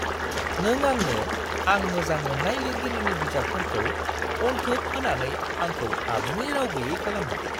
नों आंनो आं मोजां मोन्नाय लिरगिरिनि बिजाबफोरखौ अनथोब होनानै आंखौ आबुङै राव गैयै खालामबाय।